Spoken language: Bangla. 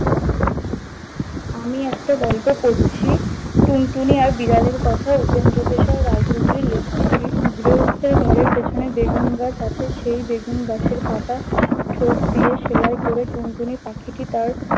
আমি একটা গল্প পরছি, টুনটুনি আর বিড়ালের কথা উপেন্দ্র কিশোর রায় চৌধুরীর লেখা দিয়ে। গৃহস্তের ঘরের পেছনে বেগুন গাছ আছে, সেই বেগুন গাছের পাতা ঠোঁট দিয়ে সেলাই করে টুনটুনি পাখিটি তার-